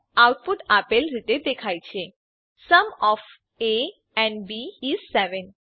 output આપેલ રીતે દેખાય છે sum of A and B is 7